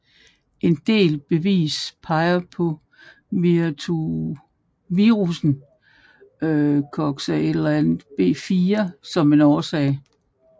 En del bevis peger på virussen Coxsackie B4 som en årsag